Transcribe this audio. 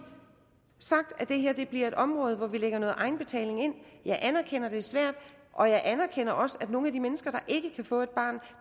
sagt at det her bliver et område hvor vi lægger noget egenbetaling ind jeg anerkender at det er svært og jeg anerkender også at hos nogle af de mennesker der ikke kan få et barn